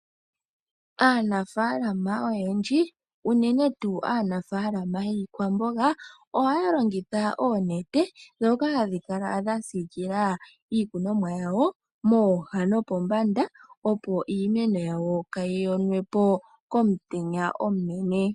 Aanafaalama oyendji unene tuu aanafaalama yiikwamboga ohaya longitha oonete , ndhoka hadhi kala dhasiikila iikunomwa yawo mooha nopombanda opo iimeno yawo kaayi yonwepo komutenya omunene.